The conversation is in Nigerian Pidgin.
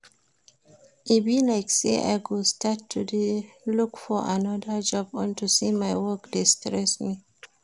Ada tell me say she dey always like to go stay for the roof wen her head full